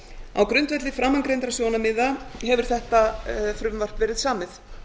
á grundvelli framangreindra sjónarmiða hefur þetta frumvarp verið samið